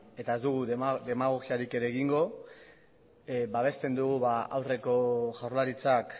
eta ez dugu demagogiarik ere egingo babesten dugu aurreko jaurlaritzak